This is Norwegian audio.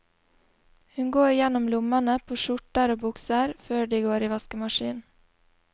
Hun går gjennom lommene på skjorter og bukser, før de går i vaskemaskinen.